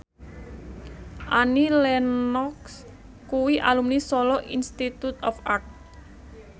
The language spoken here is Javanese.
Annie Lenox kuwi alumni Solo Institute of Art